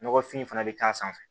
Nɔgɔfin fana bɛ k'a sanfɛ